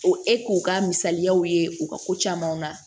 O e k'o ka misaliyaw ye u ka ko camanw na